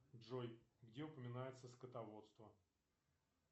джой где упоминается скотоводство